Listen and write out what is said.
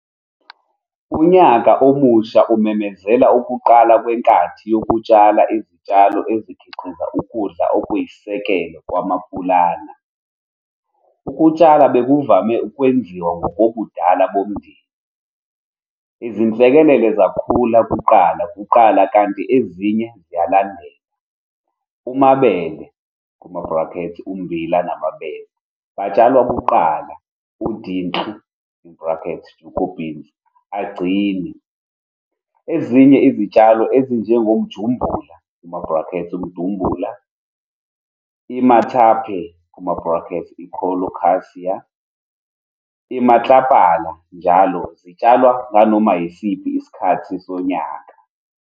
Unyaka Omusha umemezela ukuqala kwenkathi yokutshala izitshalo ezikhiqiza ukudla okuyisisekelo kwaMapulana. Ukutshala bekuvame ukwenziwa ngokobudala bomndeni, izinhlekelele zakhula kuqala kuqala kanti ezinye ziyalandela. UMabele, umbila namabele, batshalwa kuqala, uDintlu, jugobeans, agcine. Ezinye izitshalo ezinjengoMjumbula, umdumbula, iMathape, i-colocasia, iMatlapala njll zitshalwa nganoma yisiphi isikhathi sonyaka.